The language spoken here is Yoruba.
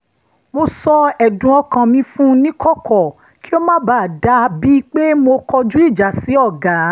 mo sọ ẹ̀dùn ọkàn mi fún níkọ̀kọ̀ kí ó má bàa dà bíi pé mo kọjú ìjà sí ọ̀gá